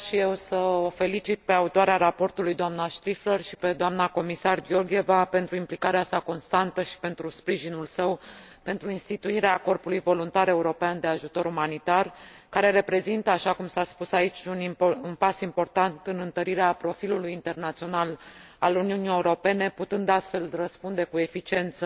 Vreau și eu să o felicit pe autoarea raportului, doamna Striffler și pe doamna Comisar Georgieva pentru implicarea sa constantă și pentru sprijinul său pentru instituirea Corpului voluntar european de ajutor umanitar, care reprezintă, așa cum s a spus aici, un pas important în întărirea profilului internațional al Uniunii Europene, putând astfel răspunde cu eficiență